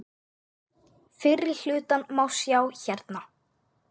Fyrri hlutan má sjá hérna.